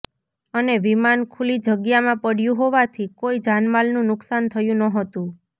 અને વિમાન ખુલ્લી જગ્યામાં પડ્યું હોવાથી કોઈ જાનમાલનું નુક્સાન થયું નહોતું